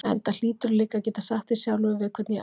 Enda hlýturðu líka að geta sagt þér sjálfur við hvern ég á.